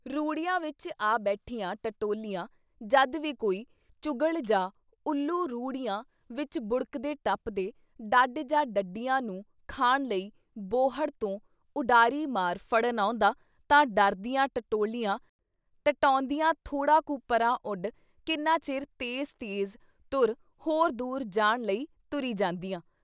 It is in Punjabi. ਰੂੜੀਆਂ ਵਿੱਚ ਆ ਬੈਠੀਆਂ ਟਟਿਔਲੀਆਂ ਜਦ ਵੀ ਕੋਈ ਚੁਗ਼ਲ ਜਾਂ ਉੱਲੂ ਰੂੜੀਆਂ ਵਿੱਚ ਬੁੜਕਦੇ ਟੱਪਦੇ ਡੱਡ ਜਾਂ ਡੱਡੀਆਂ ਨੂੰ ਖਾਣ ਲਈ ਬੌੜ੍ਹ ਤੋਂ ਉਡਾਰੀ ਮਾਰ ਫੜਨ ਆਉਂਦਾ ਤਾਂ ਡਰਦੀਆਂ ਟਟਿਔਲੀਆਂ ਟਟਿਔਦੀਆਂ ਥੋੜ੍ਹਾ ਕੁ ਪਰ੍ਹਾਂ ਉਡ ਕਿੰਨਾ ਚਿਰ ਤੇਜ਼-ਤੇਜ਼ ਤੁਰ ਹੋਰ ਦੂਰ ਜਾਣ ਲਈ ਤੁਰੀ ਜਾਂਦੀਆਂ।